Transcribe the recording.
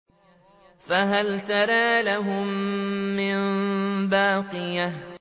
فَهَلْ تَرَىٰ لَهُم مِّن بَاقِيَةٍ